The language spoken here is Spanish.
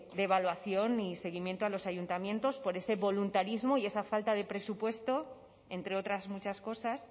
evaluación ni seguimiento a los ayuntamientos por ese voluntarismo y esa falta de presupuesto entre otras muchas cosas